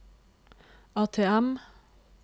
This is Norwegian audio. ATM